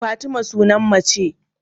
Fatima sunan mace